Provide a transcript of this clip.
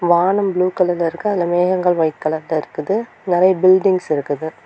வானம் ப்ளூ கலர்ல இருக்கு அதுல மேகங்கள் ஒயிட் கலர்ல இருக்குது நறைய பில்டிங்ஸ் இருக்குது.